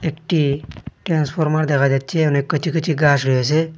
একটি ট্রান্সফরমার দেখা যাচ্ছে অনেক কিছু কিছু গাছ রয়েছে।